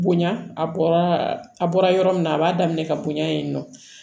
Bonya a bɔra a bɔra yɔrɔ min na a b'a daminɛ ka bonya in nɔ